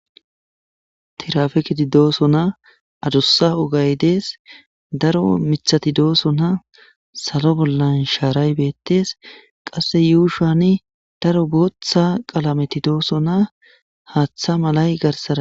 tirafekidi dooso na adussa ogay dees daro mithati dooso na salo bollan shaaray beettes qasse yuushani daro booththa qalameti dooso na haaththa malay garsada